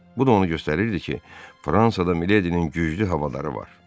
Bu da onu göstərirdi ki, Fransada Miledinin güclü havadarları var.